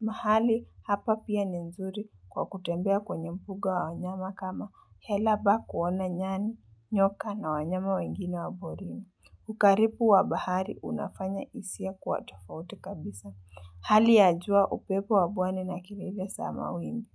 mahali hapa pia ni nzuri kwa kutembea kwenye mbuga wa wanyama kama hela park kuona nyani nyoka na wanyama wengine wa porini. Ukaribu wa bahari unafanya hisia kuwa tofauti kabisa. Hali ya jua upepo wapwani na kelele za mawimbi.